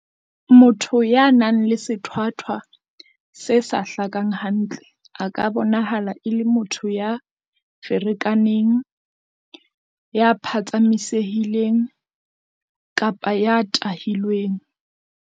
Motho ya nang le sethwathwa se sa hlakang hantle a ka bonahala e le motho ya ferekaneng, ya phatsamise-hileng kapa ya tahilweng.